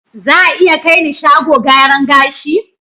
Za a iya kai ni shago gyaran gashi?